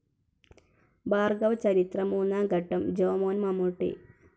Bhargava Charitham Moonnam Khandam Jomon Mammootty